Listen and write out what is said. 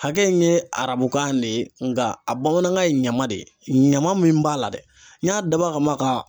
Hakɛ in ye arabukan de ye nka a bamanankan ye ɲama de ɲama min b'a la dɛ n y'a dabɔ a kama ka